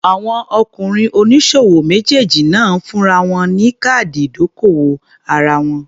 Àwọn ọkùnrin oníṣòwò méjèèjì náà fúnra wọn ní káàdì ìdókòwò ara wọn.